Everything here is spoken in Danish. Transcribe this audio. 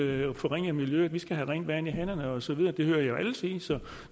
vil forringe miljøet vi skal have rent vand i hanerne og så videre det hører jeg jo alle sige så